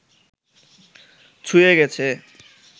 ছুঁয়ে গেছে